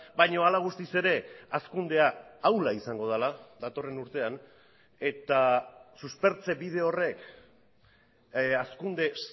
baina hala guztiz ere hazkundea ahula izango dela datorren urtean eta suspertze bide horrek hazkunde